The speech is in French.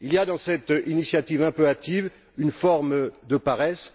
Il y a dans cette initiative un peu hâtive une forme de paresse.